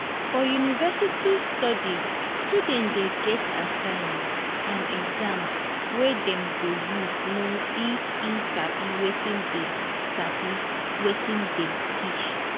for university studies student de get assignment and exams wey dem go use know if e sabi wetin dem sabi wetin dem teach